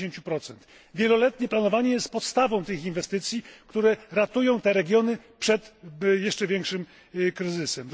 70. Wieloletnie planowanie jest podstawą tych inwestycji, które ratują te regiony przed jeszcze większym kryzysem.